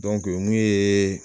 mun ye